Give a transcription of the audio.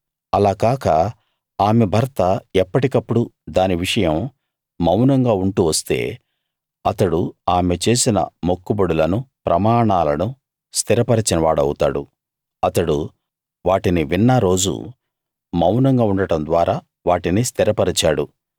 అలా కాక ఆమె భర్త ఎప్పటికప్పుడు దాని విషయం మౌనంగా ఉంటూ వస్తే అతడు ఆమె చేసిన మొక్కుబడులనూ ప్రమాణాలనూ స్థిరపరచిన వాడవుతాడు అతడు వాటిని విన్న రోజు మౌనంగా ఉండడం ద్వారా వాటిని స్థిరపరిచాడు